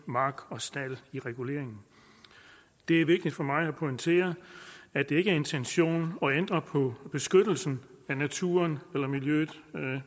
mark og stald i reguleringen det er vigtigt for mig at pointere at det ikke er intentionen at ændre på beskyttelsen af naturen eller miljøet